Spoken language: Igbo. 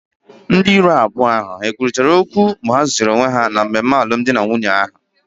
Ndị iro abụọ ha kwurịta okwu mgbe ha zutere onwe ha na mmemme alụmdi na nwunye ahụ?